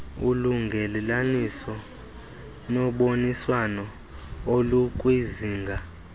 ulungelelaniso noboniswano olukwizinga